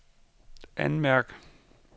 anmærk